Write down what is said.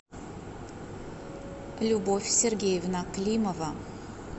любовь сергеевна климова